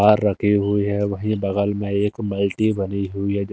रखे हुए हैं वहीं बगल में एक मल्टी बनी हुई है--